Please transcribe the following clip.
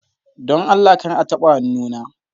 Don Allah kar a taɓa hannuna!